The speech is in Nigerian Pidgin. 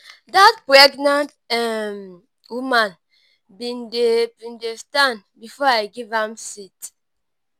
dat pregnant um woman bin dey bin dey stand before i give am my seat.